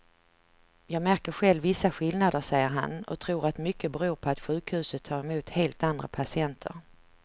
Jag märker själv vissa skillnader, säger han och tror att mycket beror på att sjukhuset tar emot helt andra patienter.